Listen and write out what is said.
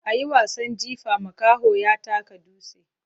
A yi wasan jifa, makaho ya taka dutse.